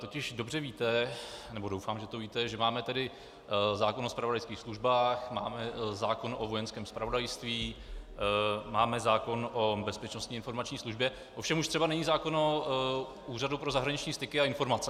Totiž dobře víte, nebo doufám, že to víte, že máme tady zákon o zpravodajských službách, máme zákon o Vojenském zpravodajství, máme zákon o Bezpečnostní informační službě, ovšem už třeba není zákon o Úřadu pro zahraniční styky a informace.